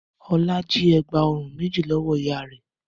Ọlá jí ẹ̀gbá-ọrùn méjì lọ́wọ́ ìyá rẹ̀?